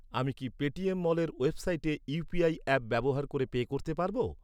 আমি কি পেটিএম মলের ওয়েবসাইটে ইউ.পি.আই অ্যাপ ব্যবহার করে পে করতে পারব?